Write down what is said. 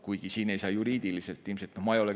Kuigi siin ei saa juriidiliselt ilmselt.